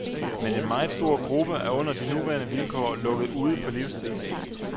Men en meget stor gruppe er under de nuværende vilkår lukket ude på livstid.